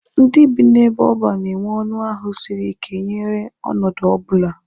Ndị bi n'ebe oban na-enwe ọnụ ahụ siri ike nyere ọnọdụ ọbụla.